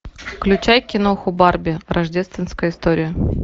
включай киноху барби рождественская история